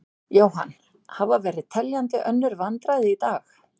Jóhann: Hafa verið teljandi önnur vandræði í dag?